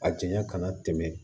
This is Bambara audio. A janya kana tɛmɛ